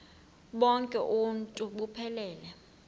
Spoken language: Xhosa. bonk uuntu buphelele